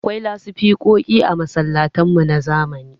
Akwai lasifikoki a masallatan mu na zamani.